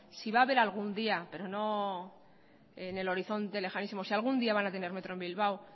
si va a haber algún día pero no en el horizonte lejanísimo si algún día van a tener metro en bilbao